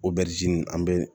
Obɛrizini an bɛ